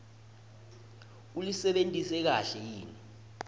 ulisebentise kahle yini